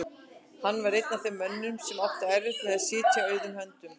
Hann var einn af þeim mönnum sem áttu erfitt með að sitja auðum höndum.